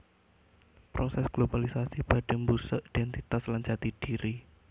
Prosès globalisasi badhé mbusek idhéntitas lan jati dhiri